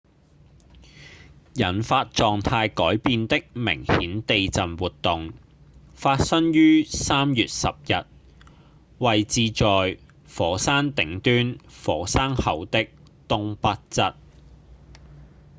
引發狀態改變的明顯地震活動發生於3月10日位置在火山頂端火山口的東北側